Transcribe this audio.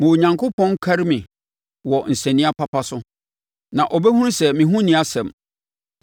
ma Onyankopɔn nkari me wɔ nsania papa so na ɔbɛhunu sɛ me ho nni asɛm.